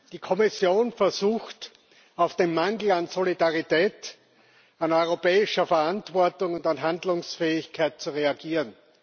Die Kommission versucht auf den Mangel an Solidarität, an europäischer Verantwortung und Handlungsfähigkeit zu reagieren.